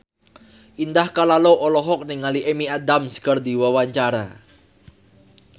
Indah Kalalo olohok ningali Amy Adams keur diwawancara